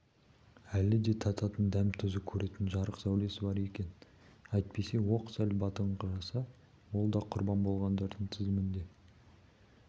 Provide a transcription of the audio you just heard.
әлі де тататын дәм-тұзы көретін жарық сәулесі бар екен әйтпесе оқ сәл батыңқыраса ол да құрбан болғандардың тізімінде